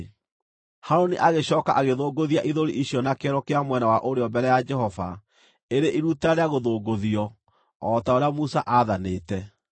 Harũni agĩcooka agĩthũngũthia ithũri icio na kĩero kĩa mwena wa ũrĩo mbere ya Jehova ĩrĩ iruta rĩa gũthũngũthio, o ta ũrĩa Musa aathanĩte.